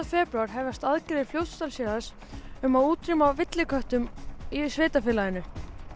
febrúar hefjast aðgerðir Fljótsdalshéraðs um að útrýma villiköttum í sveitarfélaginu